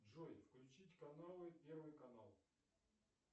джой включить каналы первый канал